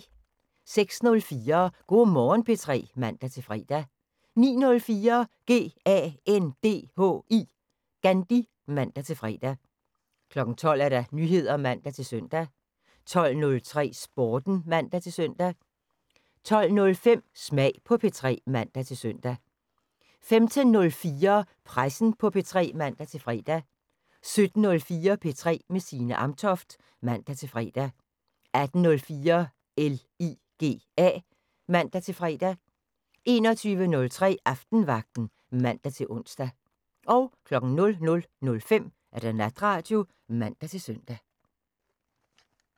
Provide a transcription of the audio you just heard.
06:04: Go' Morgen P3 (man-fre) 09:04: GANDHI (man-fre) 12:00: Nyheder (man-søn) 12:03: Sporten (man-søn) 12:05: Smag på P3 (man-søn) 15:04: Pressen på P3 (man-fre) 17:04: P3 med Signe Amtoft (man-fre) 18:04: LIGA (man-fre) 21:03: Aftenvagten (man-ons) 00:05: Natradio (man-søn)